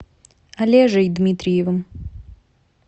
олежей дмитриевым